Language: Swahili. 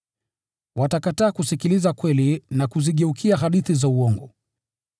Watakataa kusikiliza kweli na kuzigeukia hadithi za uongo.